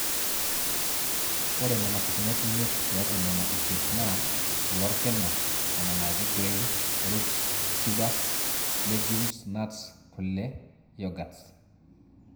ore nena pukunot imiet tiatwa nena isiet naa; kule orkina, nena naaji grains, roots, tubers, legumes, nuts, kule, youghuts